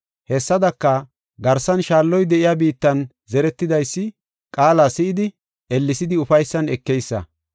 Hessadaka, garsan shaalloy de7iya biittan zeretidaysi qaala si7idi, ellesidi ufaysan ekeysa.